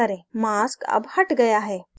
mask अब the गया है